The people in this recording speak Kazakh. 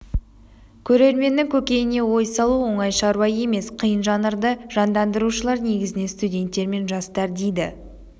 көрерменнің көкейіне ой салу оңай шару емес қиын жанрды жандандырушылар негізінен студенттер мен жастар дейді